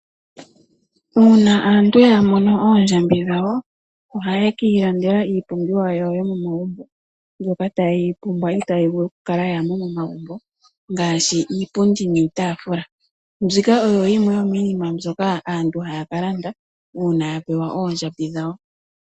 Uuna aantu ya mono oondjambi dhawo ohaye ki ilandela iipumbiwa yawo yomomagumbo . Mbyoka taye yi pumbwa itaayi vulu okukala kaayi mo momagumbo ngaashi iipundi niitaafula. Mbika oyo yimwe yomiinima mbyoka aantu haya ka landa uuna ya pewa oondjambi dhawo.